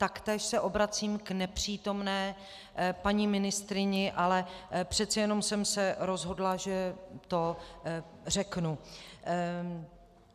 Taktéž se obracím k nepřítomné paní ministryni, ale přece jenom jsem se rozhodla, že to řeknu.